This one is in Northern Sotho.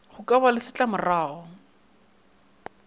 go ka ba le setlamorago